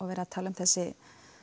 verið að tala um þessi